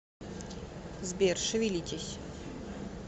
сбер шевелитесь